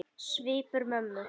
Svipur mömmu